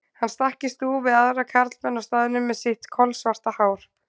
Hann stakk í stúf við aðra karlmenn á staðnum með sitt kolsvarta hár.